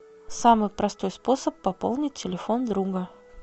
самый простой способ пополнить телефон друга